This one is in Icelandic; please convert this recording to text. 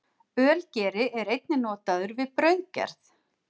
Ölgeri er einnig notaður við brauðgerð.